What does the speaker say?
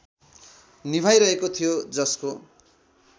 निभाइरहेको थियो जसको